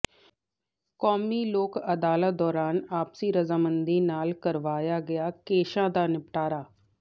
ਕੌਮੀ ਲੋਕ ਅਦਾਲਤ ਦੌਰਾਨ ਆਪਸੀ ਰਜ਼ਾਮੰਦੀ ਨਾਲ ਕਰਵਾਇਆ ਗਿਆ ਕੇਸਾਂ ਦਾ ਨਿਪਟਾਰਾ